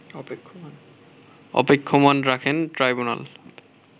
অপেক্ষমাণ রাখেন ট্রাইব্যুনাল